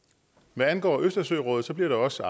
hvad angår østersørådet bliver der også